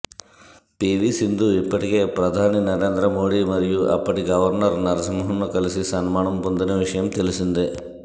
PV Sindhu ఇప్పటికే ప్రధాని నరేంద్ర మోడీ మరియు అప్పటి గవర్నర్ నరసింహన్ను కలిసి సన్మానం పొందిన విషయం తెల్సిందే